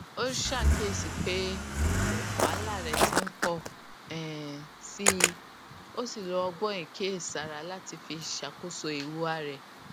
ó ṣàkíyèsí pé wàhálà rẹ ti n pọ um síi ó sì lo ọgbọn ìkíyèsára láti fi ṣàkóso ìhùwà rẹ